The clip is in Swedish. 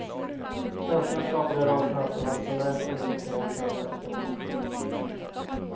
Svenskarna skapade en rad chanser och hade så när fått in pucken in det kanadensiska målet.